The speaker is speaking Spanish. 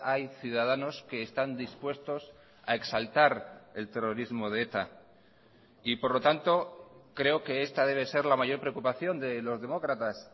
hay ciudadanos que están dispuestos a exaltar el terrorismo de eta y por lo tanto creo que esta debe ser la mayor preocupación de los demócratas